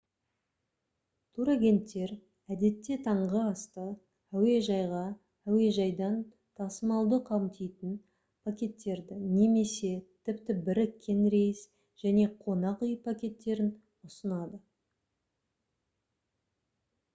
турагенттер әдетте таңғы асты әуежайға/әуежайдан тасымалдауды қамтитын пакеттерді немесе тіпті біріккен рейс және қонақ үй пакеттерін ұсынады